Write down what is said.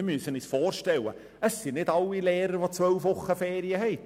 Wir müssen uns vorstellen, dass nicht alle Eltern Lehrer sind und zwölf Wochen Ferien haben.